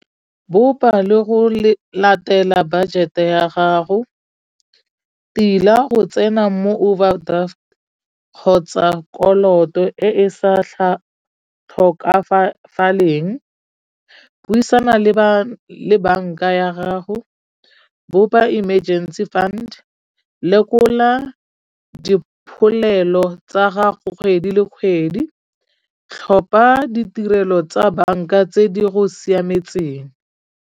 Bopa le go latela budget-e ya gago, tila go tsena mo overdraft kgotsa koloto e e sa tlhokagaleng. Buisana le bana le banka ya gago bo ba emergency fund, lekola dipholelo tsa gago kgwedi le kgwedi, tlhopha ditirelo tsa banka tse di go siametseng.